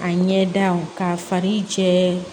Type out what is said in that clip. A ɲɛ da k'a fari jɛ